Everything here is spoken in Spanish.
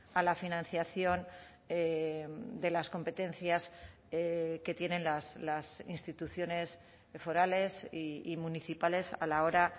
a la financiación de las competencias que tienen las instituciones forales y municipales a la hora